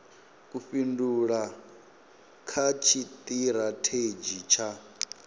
u fhindula kha tshitirathedzhi tsha